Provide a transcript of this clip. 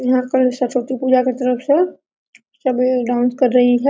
यहाँ कल सरस्वती पूजा की तरफ से सभी डांस कर रही है।